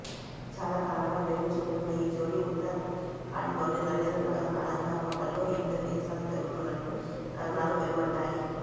చాలా కాలంగా ప్రేమించుకుంటున్న ఈ జోడి ఉత్తరాఖండ్లోని నరేంద్రనగర్ అనందా హోటల్లో ఈ ఇద్దరి నిశ్చితార్థం జరుగనున్నట్లు కథనాలు వెలువడ్డాయి